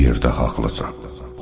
Bu yerdə haqlısan.